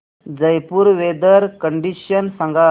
Jaipur weather condition सांगा